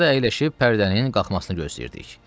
Teatrda əyləşib pərdənin qalxmasını gözləyirdik.